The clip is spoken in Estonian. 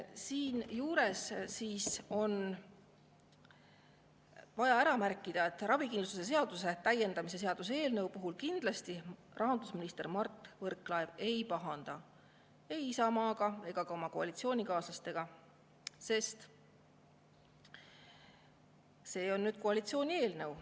Siinjuures on vaja ära märkida, et ravikindlustuse seaduse täiendamise seaduse eelnõu puhul rahandusminister Mart Võrklaev kindlasti ei pahanda ei Isamaaga ega ka oma koalitsioonikaaslastega, sest see on koalitsiooni eelnõu.